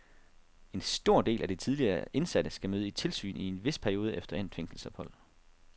En stor del af de tidligere indsatte skal møde i tilsyn i en vis periode efter endt fængselsophold.